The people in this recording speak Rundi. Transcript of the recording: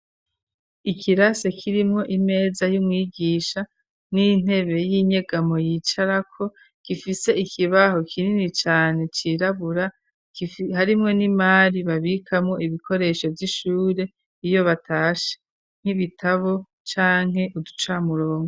ikirase kirimwo imeza y'umwigisha n'intebe y'inyegamo yicarako gifise ikibaho kinini cane cirabura, harimwo n'imari babikamwo ibikoresho vy'ishure iyo batashe, nk'ibitabo canke uducamurongo.